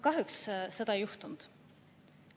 Kahjuks seda ei juhtunud.